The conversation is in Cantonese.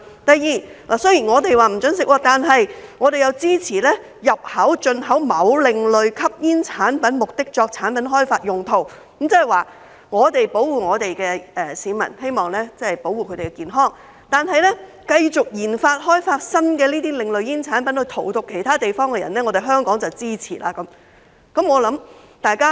第二，雖然香港禁止吸食，但我們支持入口及進口某另類吸煙產品作產品開發用途，換言之，我們保護我們的市民，希望保護他們的健康，但卻繼續研發、開發新的另類煙產品來荼毒其他地方的人，這樣香港便支持。